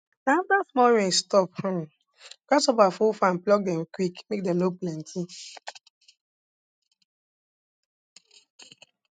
na afta small rain stop um grasshopper full farm pluck dem quick make dem no plenty